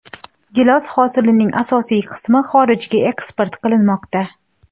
Gilos hosilining asosiy qismi xorijga eksport qilinmoqda.